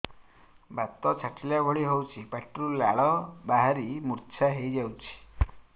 ବାତ ଛାଟିଲା ଭଳି ହଉଚି ପାଟିରୁ ଲାଳ ବାହାରି ମୁର୍ଚ୍ଛା ହେଇଯାଉଛି